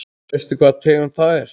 Veistu hvaða tegund það er?